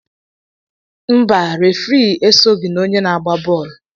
Mba, refri esogho na ndị na-agba bọọlụ